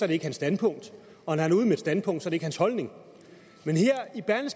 det ikke hans standpunkt og når han er ude med et standpunkt er det ikke hans holdning men her